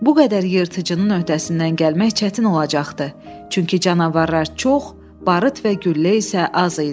Bu qədər yırtıcının öhdəsindən gəlmək çətin olacaqdı, çünki canavarlar çox, barıt və güllə isə az idi.